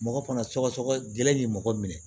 Mɔgɔ fana sɔgɔsɔgɔ gɛlɛn ni mɔgɔ minɛ